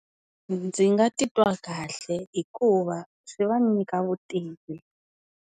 Ndzi nga titwa kahle hikuva, swi va nyika vutivi.